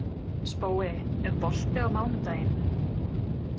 Spói, er bolti á mánudaginn?